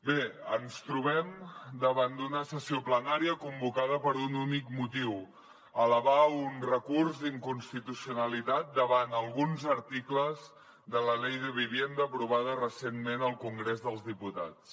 bé ens trobem davant d’una sessió plenària convocada per un únic motiu elevar un recurs d’inconstitucionalitat davant alguns articles de la ley de vivienda aprovada recentment al congrés dels diputats